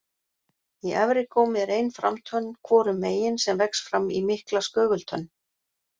Í efri gómi er ein framtönn hvorum megin sem vex fram í mikla skögultönn.